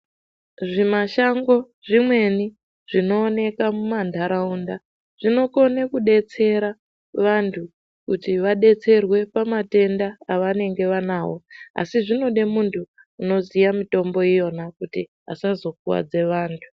Zvimashango zvimweni zvinooneka mumantaraunda zvinokone kudetsera vantu kuti vadetserwe pamatenda avanenge vanawo asi zvinode muntu unoziye mitombo iyona kuti asazokuwadza vantu.